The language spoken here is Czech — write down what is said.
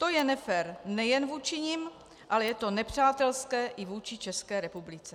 To je nefér nejen vůči nim, ale je to nepřátelské i vůči České republice.